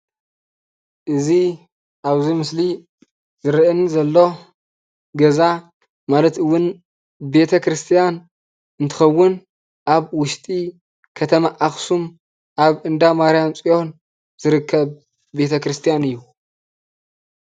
እዚ አብ እዚ ምስሊ ዝርአየኒ ዘሎ ገዛ ማለት እውን ቤተ ክርስትያን እንትኸውን፤ አብ ውሽጢ ከተማ አክሱም አብ እንዳማርያም ፅዮን ዝርከብ ቤተ ክርስትያን እዩ፡፡